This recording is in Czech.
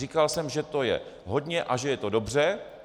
Říkal jsem, že to je hodně a že je to dobře.